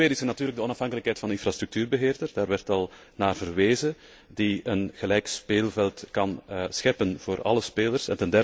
Ten tweede is er natuurlijk de onafhankelijkheid van de infrastructuurbeheerder daar werd al naar verwezen die een gelijk speelveld kan scheppen voor alle spelers.